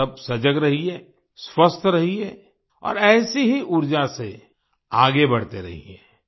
आप सब सजग रहिए स्वस्थ रहिए और ऐसी ही ऊर्जा से आगे बढ़ते रहिए